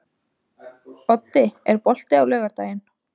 Oddi, er bolti á laugardaginn?